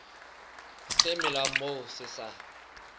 se melang moo se sa